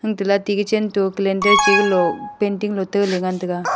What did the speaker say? untala ate gechen to calendar che galo painting lote lengan taiga.